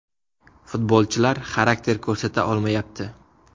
Futbolchilar xarakter ko‘rsata olmayapti.